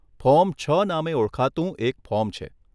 Form છ નામે ઓળખાતું એક ફોર્મ છે.